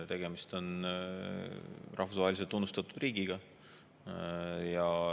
Tegemist on rahvusvaheliselt tunnustatud riigiga.